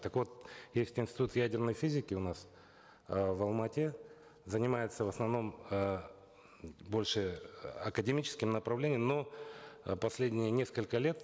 так вот есть институт ядерной физики у нас э в алматы занимается в основном э больше э академическим направлением но э последние несколько лет